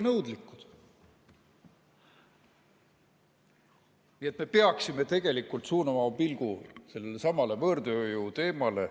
Nii et me peaksime tegelikult suunama oma pilgu sellelesamale võõrtööjõu teemale.